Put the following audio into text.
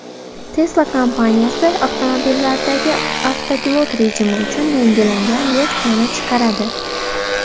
Tesla kompaniyasi avtomobillardagi avtopilot rejimi uchun yangilangan versiyani chiqaradi.